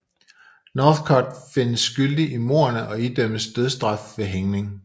Northcott findes skyldig i mordene og idømmes dødsstraf ved hængning